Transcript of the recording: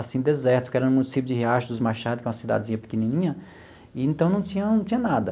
assim, deserto, que era no município de Riacho dos Machados, que é uma cidadezinha pequenininha, e então não tinha não tinha nada.